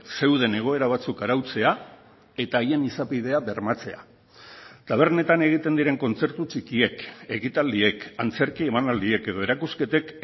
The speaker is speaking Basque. zeuden egoera batzuk arautzea eta haien izapidea bermatzea tabernetan egiten diren kontzertu txikiek ekitaldiek antzerki emanaldiek edo erakusketek